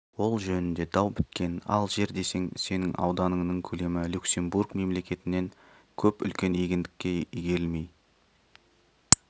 ол жөнінде дау біткен ал жер десең сенің ауданыңның көлемі люксембург мемлекетінен көп үлкен егіндікке игерілмей